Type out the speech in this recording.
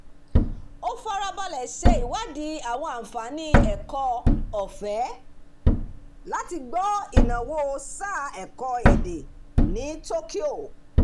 ó farabalẹ̀ ṣèwádìí àwọn àǹfààní ẹ̀kọ́-ọ̀fẹ́ láti gbọ́ ìnáwó sáà ẹ̀kọ́ èdè ní tokyo